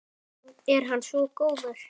Er hann svo góður?